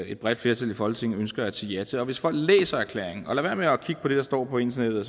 et bredt flertal i folketinget ønsker at sige ja til og hvis folk læser erklæringen og lader være med at kigge på det der står på internettet